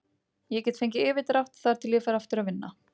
Ég get fengið yfirdrátt þar til ég fer aftur að vinna.